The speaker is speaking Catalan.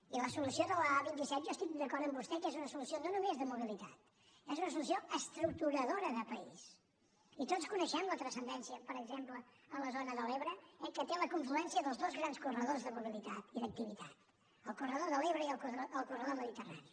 i la solució de l’a vint set jo estic d’acord amb vostè que és una solució no només de mobilitat és una solució estructuradora de país i tots coneixem la transcendència per exemple a la zona de l’ebre eh que té la confluència dels dos grans corredors de mobilitat i d’activitat el corredor de l’ebre i el corredor mediterrani